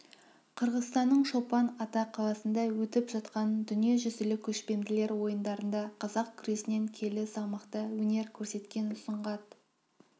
қырғызстанның чолпан ата қаласында өтіп жатқан дүниежүзілік көшпенділер ойындарында қазақ күресінен келі салмақта өнер көрсеткен сұңғат